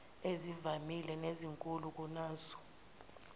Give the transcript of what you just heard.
ezivamile nezinkulu kunazo